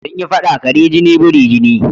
Sun yi faɗa "kare jini biri jini"